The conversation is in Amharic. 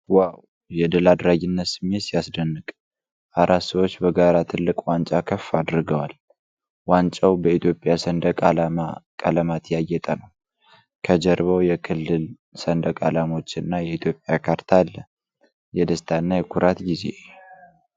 ዋው! የድል አድራጊነት ስሜት ሲያስደንቅ! አራት ሰዎች በጋራ ትልቅ ዋንጫ ከፍ አድርገዋል። ዋንጫው በኢትዮጵያ ሰንደቅ ዓላማ ቀለማት ያጌጠ ነው። ከጀርባው የክልል ሰንደቅ ዓላማዎችና የኢትዮጵያ ካርታ አለ። የደስታ እና የኩራት ጊዜ!!።